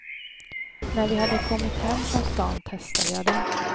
När vi hade kommit hem från stan testade jag den.